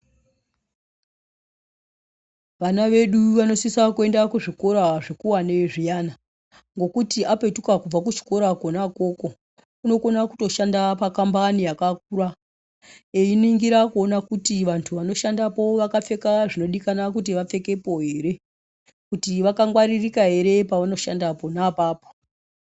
Vana vedu vanosisa kuenda kuzvikora zvikuwane zviyani ngekuti apetuka kubva kuchikoracho kona ikoko unokona kutoshanda pakambani yakakura einingira kuona kuti vantu vanoshandapo vakapfeka zvinodikana kuti vapfekepo ere kuti vakangwaririka ere pavanoshanda pona apapo.